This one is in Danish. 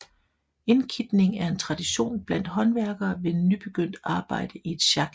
Indkitning er en tradition blandt håndværkere ved nybegyndt arbejde i et sjak